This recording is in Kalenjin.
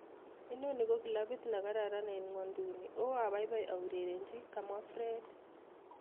noni ko glabiit negaran en ngwenyduni o abaibai a urerenji kamwa Fred